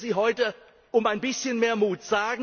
Ich bitte Sie heute um ein bisschen mehr Mut.